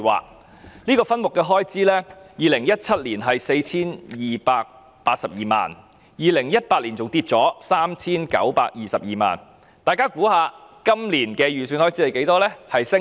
在2017年，這個分目的開支是 4,282 萬元 ，2018 年下跌至 3,922 萬元，大家猜一猜今年的預算開支是多少？